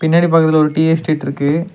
பின்னாடி பக்கத்துல ஒரு டீ எஸ்டேட் இருக்கு.